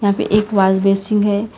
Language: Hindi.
यहाँ पे एक वॉल बेसिन है।